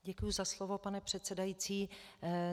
Děkuji za slovo, pane předsedající.